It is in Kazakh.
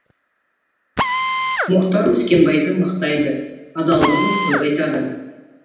мұхтар өскенбайды мақтайды адалдығын көп айтады